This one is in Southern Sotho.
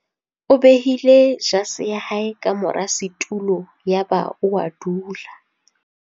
O behile jase ya hae ka mora setulo yaba o a dula.